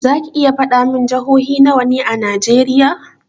Zaki iya faɗa min jihohi nawa ne a najeriya?